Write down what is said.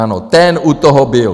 Ano, ten u toho byl.